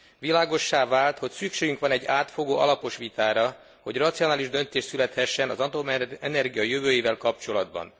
Világossá vált, hogy szükségünk van egy átfogó, alapos vitára, hogy racionális döntés születhessen az atomenergia jövőjével kapcsolatban.